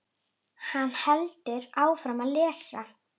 Hann heldur áfram að lesa: